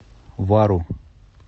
вару